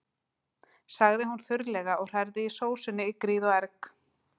sagði hún þurrlega og hrærði í sósunni í gríð og erg.